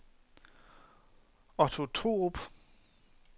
Otto Thorup